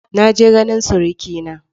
Na je ganin surikina.